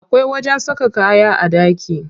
Akwai wajen saka kaya a ɗaki.